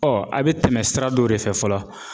a bɛ tɛmɛ sira dɔ de fɛ fɔlɔ ,